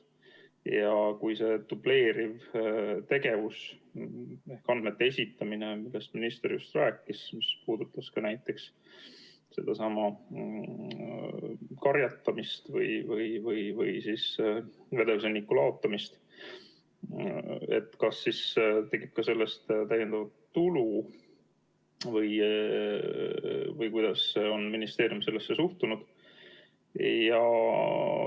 kui see dubleeriv andmete esitamine, millest minister just rääkis, mis puudutas ka näiteks karjatamist või siis vedelsõnniku laotamist, kas siis tekib ka täiendav tulu või kuidas ministeerium sellesse suhtub.